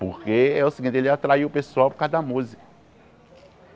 Porque é o seguinte, ele atraia o pessoal por causa da música.